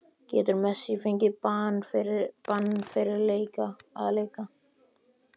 Getur Messi fengið bann fyrir að leika?